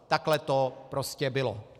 Takhle to prostě bylo.